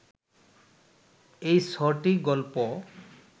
এই ছ’টি গল্প